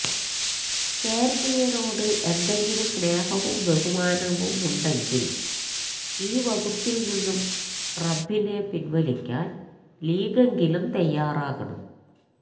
കേരളീയരോട് എന്തെങ്കിലും സ്നേഹവും ബഹുമാനവുമുണ്ടെങ്കില് ഈ വകുപ്പില് നിന്നു റബ്ബിനെ പിന്വലിക്കാന് ലീഗെങ്കിലും തയ്യാറാകണം